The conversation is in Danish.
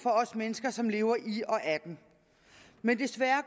for os mennesker som lever i og af den men desværre